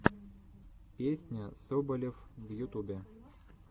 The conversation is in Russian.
песня соболев в ютубе